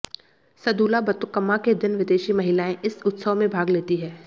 सद्दुला बतुकम्मा के दिन विदेशी महिलाएं इस उत्सव में भाग लेती हैं